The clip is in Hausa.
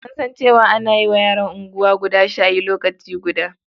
An san cewa ana wa yaran unguwa guda shayi lokaci guda.